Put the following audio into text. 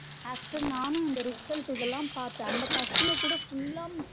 After நானும் இந்த result இதலா பாத்த அந்த பசங்ககூட full லாம்